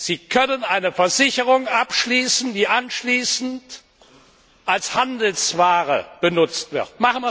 Sie können eine Versicherung abschließen, die anschließend als Handelsware benutzt wird.